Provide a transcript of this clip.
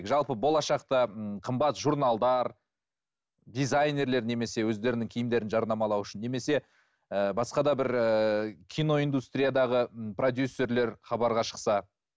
жалпы болашақта ммм қымбат журналдар дизайнерлер немесе өздерінің киімдерін жарнамалау үшін немесе ііі басқа да бір ііі киноиндустриядағы ы продюссерлер хабарға шықса